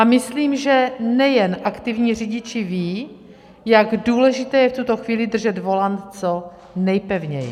A myslím, že nejen aktivní řidiči vědí, jak důležité je v tuto chvíli držet volant co nejpevněji.